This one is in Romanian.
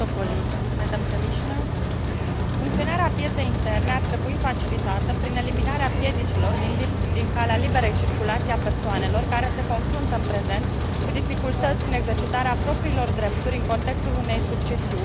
Funcționarea pieței interne ar trebui facilitată prin eliminarea piedicilor din calea liberei circulații a persoanelor care se confruntă în prezent cu dificultăți în exercitarea propriilor drepturi, în contextul unei succesiuni cu implicații transfrontaliere.